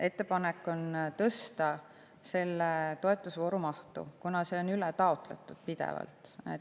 Ettepanek on tõsta selle toetus mahtu, kuna see on pidevalt ületaotletud.